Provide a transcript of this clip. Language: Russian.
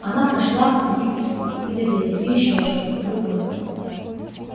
она прочла в них испуг недоверие и ещё что-то другое